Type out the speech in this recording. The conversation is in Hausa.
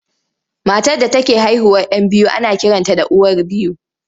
Matar da take haihuwar 'yan biyu ana kiranta da uwar biyu.